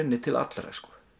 til allra